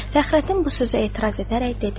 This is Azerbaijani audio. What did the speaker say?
Fəxrəddin bu sözə etiraz edərək dedi: